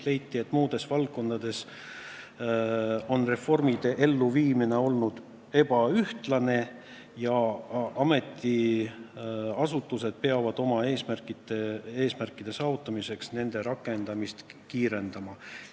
Leiti, et muudes valdkondades on reformide elluviimine olnud ebaühtlane ja ametiasutused peavad oma eesmärkide saavutamiseks nende rakendamist kiirendama.